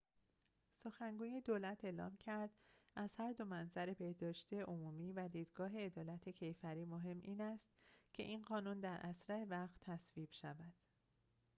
سخنگوی دولت اعلام کرد از هر دو منظر بهداشت عمومی و دیدگاه عدالت کیفری مهم این است که این قانون در اسرع وقت تصویب شود